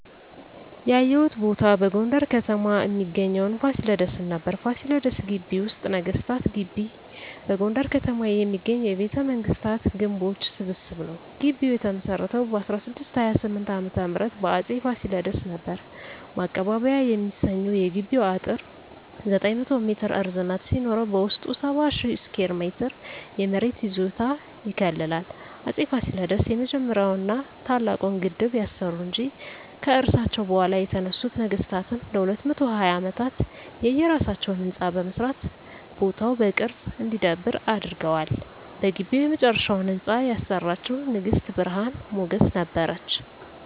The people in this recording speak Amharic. ያየሁት ቦታ በጎንደር ከተማ እሚገኘዉን ፋሲለደስን ነበር። ፋሲለደስ ግቢ ወይም ነገስታት ግቢ በጎንደር ከተማ የሚገኝ የቤተመንግስታት ግምቦች ስብስብ ነዉ። ግቢዉ የተመሰረተዉ በ1628 ዓ.ም በአፄ ፋሲለደስ ነበር። ማቀባበያ የሚሰኘዉ የግቢዉ አጥር 900 ሜትር ርዝመት ሲኖረዉ በዉስጡ 70,000 ስኩየር ሜትር የመሬት ይዞታ ይከልላል። አፄ ፋሲለደስ የመጀመሪያዉን ና ታላቁን ግድብ ያሰሩ እንጂ፣ ከርሳቸዉ በኋላ የተነሱት ነገስታትም ለ220 አመታት የየራሳቸዉን ህንፃ በመስራት ቦታዉ በቅርስ እንዲዳብር አድርገዋል። በግቢዉ የመጨረሻዉን ህንፃ ያሰራችዉ ንግስት ብርሀን ሞገስ ነበረች።